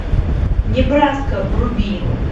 небраска вруби